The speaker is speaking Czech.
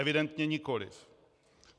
Evidentně nikoliv.